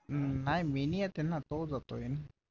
अं नाही मी नई येतेना तो जातोय ना